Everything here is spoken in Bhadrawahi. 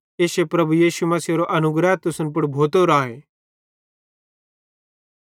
इश्शे प्रभु यीशु मसीहेरो अनुग्रह तुसन पुड़ भोतो राए